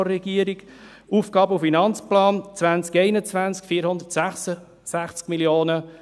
Der AFP 2021 sieht 466 Mio. Franken vor.